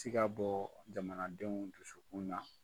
ti ka bɔ jamana denw dusukun na.